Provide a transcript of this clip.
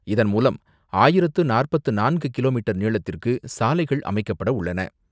இதன்மூலம் ஆயிரத்து நாற்பத்து நான்கு கிலோமீட்டர் நீளத்திற்கு சாலைகள் அமைக்கப்பட உள்ளன.